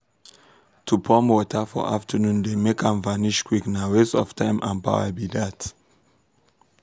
to pump water for afternoon dey make am vanish quick na waste of time and power be dat.